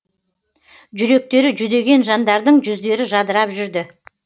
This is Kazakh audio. жүректері жүдеген жандардың жүздері жадырап жүрді